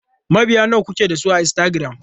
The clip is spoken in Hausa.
Mabiya nawa kuke da su a Instagram?